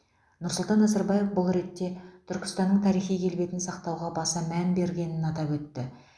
нұрсұлтан назарбаев бұл ретте түркістанның тарихи келбетін сақтауға баса мән берілгенін атап өтті